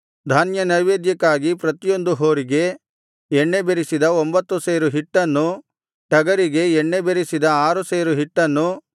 ಧಾನ್ಯನೈವೇದ್ಯಕ್ಕಾಗಿ ಪ್ರತಿಯೊಂದು ಹೋರಿಗೆ ಎಣ್ಣೆ ಬೆರಸಿದ ಒಂಭತ್ತು ಸೇರು ಹಿಟ್ಟನ್ನೂ ಟಗರಿಗೆ ಎಣ್ಣೆ ಬೆರಸಿದ ಆರು ಸೇರು ಹಿಟ್ಟನ್ನು